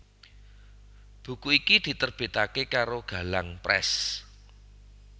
Buku iki diterbitake karo Galang Press